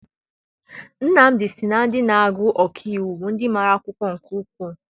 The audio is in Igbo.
Nnamdi sị na ndị na-agụ ọkaiwu bụ ndị mara akwụkwọ nke ukwuu.